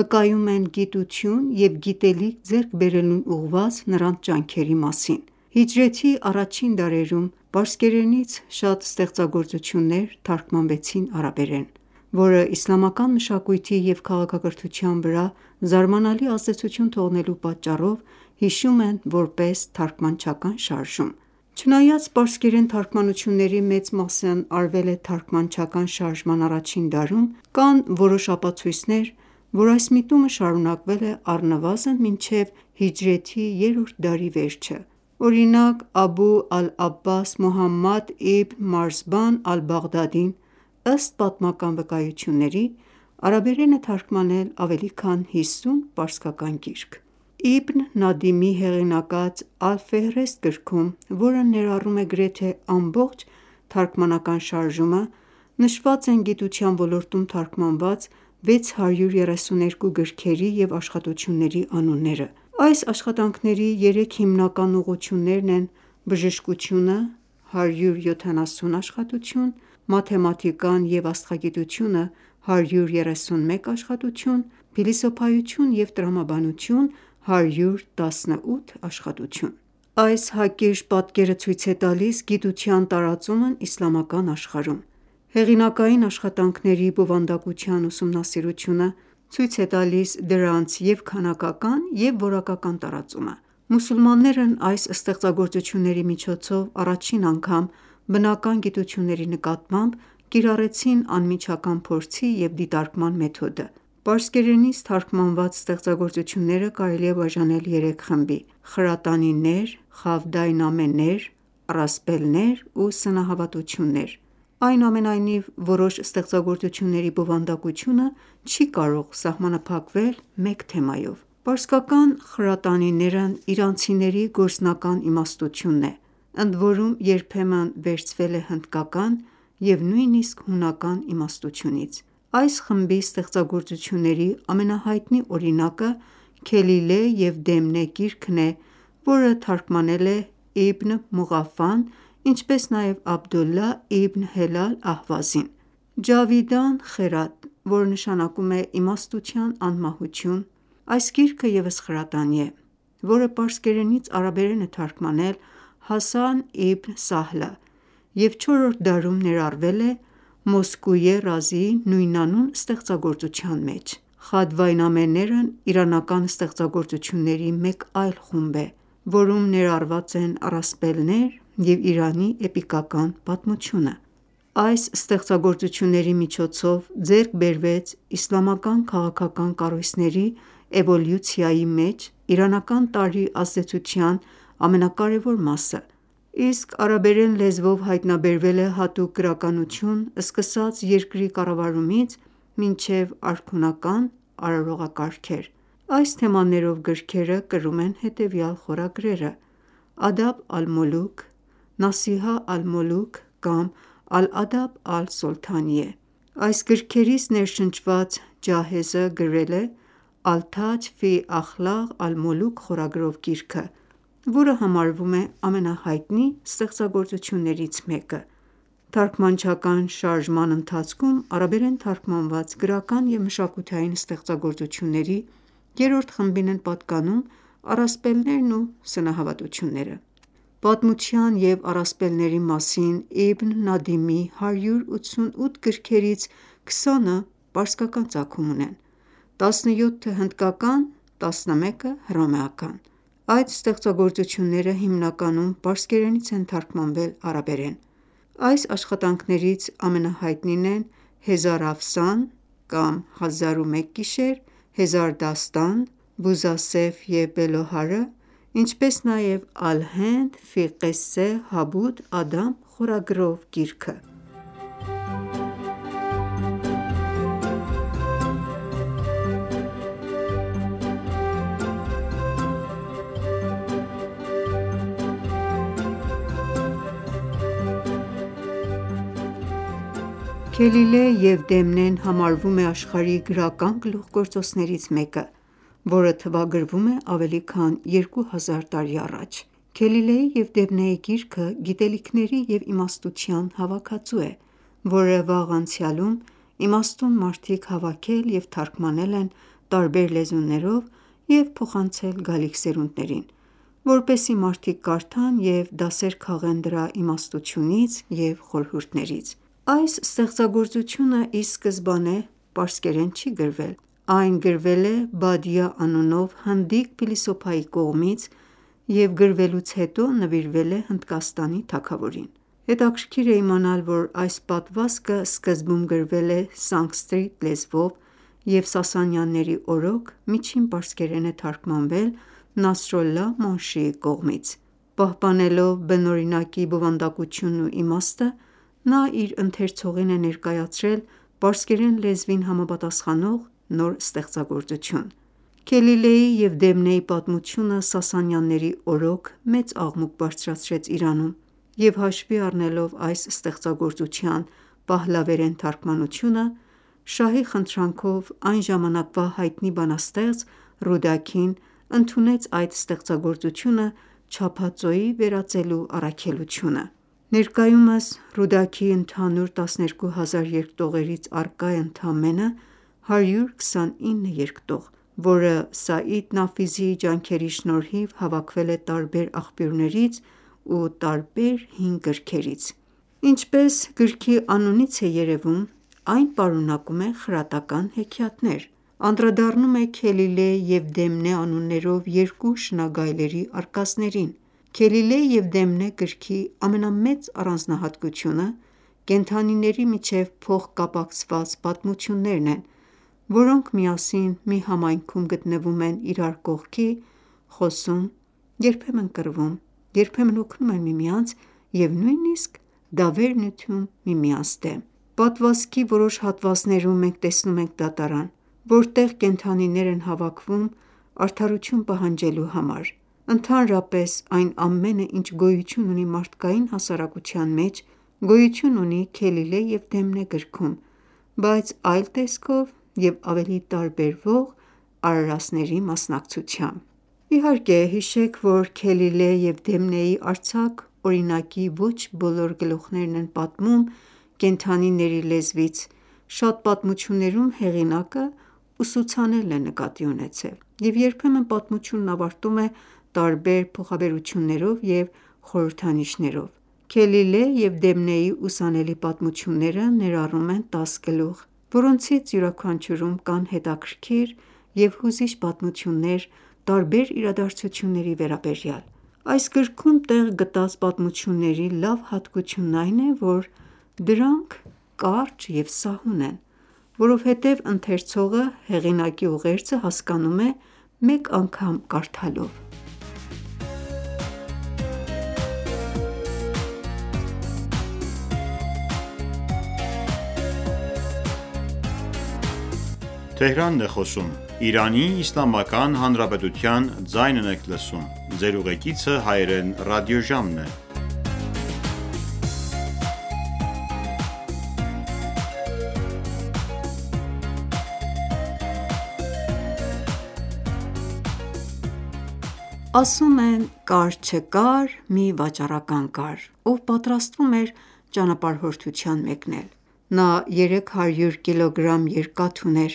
վկայում են գիտություն և գիտելիք ձեռք բերելուն ուղղված նրանց ջանքերի մասին: Հիջրեթի առաջին դարերում պարսկերենից շատ ստեղծագործություններ թարգմանվեցին արաբերեն, որն իսլամական մշակույթի և քաղաքակրթության վրա զարմանալի ազդեցություն թողնելու բերումով հիշում են, որպես «թարգմանչական շարժում»: Չնայած պարսկերեն թարգմանությունների մեծ մասն արվել է թարգմանչական շարժման առաջին դարում, կան որոշ ապացույցներ, որ այս միտումը շարունակվել է առնվազն մինչև հիջրեթի երրորդ դարի վերջը: Օրինակ, Աբու ալ-Աբբաս Մուհամմադ իբն Մարզբան ալ-Բաղդադին, ըստ պատմական վկայությունների, արաբերեն է թարգմանել ավելի քան հիսուն պարսկերեն գիրք: Իբն Նադիմի հեղինակած «Ալ-Ֆիհրիստ» գրքում, որը ներառում է գրեթե ամբողջ թարգմանական շարժումը, նշված են գիտության ոլորտում թարգմանված 632 գրքերի և աշխատությունների անունները: Այս աշխատանքների երեք հիմնական ուղղություններն են՝ բժշկությունը (170 աշխատություն), մաթեմատիկան և աստղագիտությունը (131 աշխատություն), փիլիսոփայություն և տրամաբանություն (118 աշխատություն): Այս հակիրճ պատկերը ցույց է տալիս գիտության տարածումն իսլամական աշխարհում: Հեղինակային աշխատանքների բովանդակության ուսումնասիրությունը ցույց է տալիս դրանց և՛ քանակական, և՛ որակական տարածումը: Մուսուլմաններն այս ստեղծագործությունների միջոցով առաջին անգամ բնական գիտությունների նկատմամբ կիրառեցին անմիջական փորձի և դիտարկման մեթոդը: Պարսկերենից թարգմանված ստեղծագործությունները կարելի է բաժանել երեք խմբի՝ խրատանիներ, խավդայնամեներ, առասպելներ ու սնահավատություններ (պատմություններ և լեգենդներ): Այնուամենայնիվ, որոշ ստեղծագործությունների բովանդակությունը չի կարող սահմանափակվել մեկ թեմայով: Պարսկական խրատանիներն իրանցիների գործնական իմաստությունն է, ընդորում երբեմն վերցվել է հնդկական և նույնիսկ հունական իմաստությունից: Այս խմբի ստեղծագործործությունների ամենահայտնի օրինակը «Քելիլե և Դեմնե» գիրքն է, որը թարգմանել է Իբն Մողաֆան, ինչպես նաև Աբդոլլահ Իբն Հելալ Ահվազին: «Ջավիդան Խերադ» (թարգ. Իմաստության անմահությունը) գիրքը ևս խրատանի է, որը պարսկերենից արաբերեն է թարգմանել Հասան Իբն Սահլը և չորրորդ դարում ներառվել է Մոսկույե Ռազիի նույնանուն ստեղծագործության մեջ: Խավդայնամեներն իրանական ստեղծագործությունների մեկ այլ խումբ է, որում ներառված են առասպելներ և Իրանի էպիկական պատմությունը: Այս ստեղծագործությունների միջոցով ձեռք բերվեց իսլամական քաղաքական կառույցների էվոլյուցիայի մեջ իրանական տարրի ազդեցության ամենակարևոր մասը: Իսկ արաբերեն լեզվով հայտնաբերվել է հատուկ գրականություն ՝ սկսած երկրի կառավարումից մինչև արքունական արարողակարգեր: Այս թեմաներով գրքերը կրում են հետևյալ խորագրերը՝ «Ադաբ ալ-Մոլուք», «Նասիհա ալ-Մոլուք» կամ «Ալ-Ադաբ ալ-Սոլթանիե»: Այս գրքերից ներշնչված Ջահեզը գրել է «Ալ-թաջ ֆի Ախլաղ ալ-Մոլուք» խորագրով գիրքը, որը համարվում է ամենահայտնի ստեղծագործություններից մեկը: Թարգմանչական շարժման ընթացքում արաբերեն թարգմանված գրական և մշակութային ստեղծագործությունների երրորդ խմբին են պատկանում առասպելներն ու սնահավատությունները: Պատմության և առասպելների մասին Իբն Նադիմի 188 գրքերից քսանը պարսկական ծագում ունեն, տասնյոթը՝ հնդկական, տասնմեկը՝ հռոմեական: Այդ ստեղծագործությունները հիմնականում պարսկերենից են թարգմանվել արաբերեն: Այս աշխատանքներից ամենահայտնին են Հեզարաֆսան (Հազար ու մեկ գիշեր), Հեզարդաստան, Բուզասեֆ և Բելոհարը, ինչպես նաև «Ալ-Հենդ ֆի Ղեսե Հաբութ Ադամ» խորագրով գիրքը: «Քելիլե և Դեմնե»-ն համարվում է աշխարհի գրական գլուխգործոցներից մեկը, որը թվագրվում է ավելի քան 2000 տարի առաջ: Քելիլեի և Դեմնեի գիրքը գիտելիքների և իմաստության հավաքածու է, որը վաղ անցյալում իմաստուն մարդիկ հավաքել և թարգմանել են տարբեր լեզուներով և փոխանցել գալիք սերունդներին, որպեսզի մարդիկ կարդան և դասեր քաղեն դրա իմաստությունից և խորհուրդներից: Այս ստեղծագործությունը ի սկզբանե պարսկերեն չի գրվել: Այն գրվել է Բադիա անունով հնդիկ փիլիսոփայի կողմից և գրվելուց հետո նվիրվել է Հնդկաստանի թագավորին: Հետաքրքիր է իմանալ, որ այս պատմվածքը սկզբում գրվել է սանսկրիտ լեզվով և Սասանյանների օրոք միջին պարսկերեն է թարգմանվել Նասրոլլահ Մոնշիի կողմից: Պահպանելով բնօրինակի բովանդակությունն ու իմաստը՝ նա իր ընթերցողին է ներկայացրել պարսկերեն լեզվին համապատասխանող նոր ստեղծագործություն: Քելիլեի և Դեմնեի պատմությունը Սասանյանների օրոք մեծ աղմուկ բարձրացրեց Իրանում, և հաշվի առնելով այս ստեղծագործության պահլավերեն թարգմանությունը, Շահի խնդրանքով, այն ժամանակվա հայտնի բանաստեղծ Ռուդաքին ընդունեց այդ ստեղծագործությունը չափածոյի վերածելու առաքելությունը: Ներկայումս Ռուդաքիի ընդհանուր տասներկու հազար երկտողերից առկա է ընդամենը 129 երկտող, որը Սաիդ Նաֆիսիի ջանքերի շնորհիվ հավաքվել է տարբեր աղբյուրներից ու տարբեր հին գրքերից: Ինչպես գրքի անունից է երևում, այն պարունակում է խրատական հեքիաթներ, անդրադառնում է Քելիլեհ և Դեմնե անուններով երկու շնագայլների արկածներին: «Քելիլե և Դեմնե» գրքի ամենամեծ առանձնահատկությունը կենդանիների միջև փոխկապակցված պատմություններն են, որոնք միասին մի համայնքում գտնվում են իրար կողքի, խոսում, երբեմն կռվում, երբեմն օգնում են միմյանց և նույնիսկ դավեր նյութում միմյանց դեմ: Պատմվածքի որոշ հատվածներում մենք տեսնում ենք դատարան, որտեղ կենդանիներ են հավաքվում ՝ արդարություն պահանջելու համար: Ընդհանրապես, այն ամենը, ինչ գոյություն ունի մարդկային հասարակության մեջ, գոյություն ունի Քելիլե և Դեմնե գրքում, բայց այլ տեսքով և ավելի տարբերվող արարածների մասնակցությամբ: Իհարկե, հիշեք, որ «Քելիլե և Դեմնե»-ի արձակ օրինակի ոչ բոլոր գլուխներն են պատմում կենդանիների լեզվից, շատ պատմություններում հեղինակը ուսուցանելն է նկատի ունեցել, և երբեմն պատմությունն ավարտում է տարբեր փոխաբերություններով և խորհրդանիշներով: «Քելիլե և Դեմնե»-ի ուսանելի պատմությունները ներառում են 10 գլուխ, որոնցից յուրաքանչյուրում կան հետաքրքիր և հուզիչ պատմություններ տարբեր իրադարձությունների վերաբերյալ: Այս գրքում տեղ գտած պատմությունների լավ հատկությունն այն է, որ դրանք կարճ են և սահուն: Որովհետև ընթերցողը հեղինակի ուղերձը հասկանում է մեկ անգամ կարդալով: Ասում են, կար-չկար մի վաճառական կար, ով պատրաստվում էր ճանապարհորդության մեկնել: Նա 300 կգ երկաթ ուներ,